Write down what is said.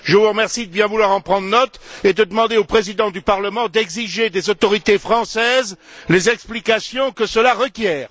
Je vous remercie de bien vouloir en prendre note et de demander au Président du Parlement d'exiger des autorités françaises les explications que cela requiert.